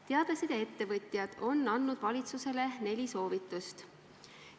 Teadlased ja ettevõtjad on andnud valitsusele neli soovitust.